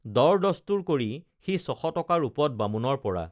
দৰ দস্তুৰ কৰি সি ছশ টকা ৰূপত বামুণৰপৰা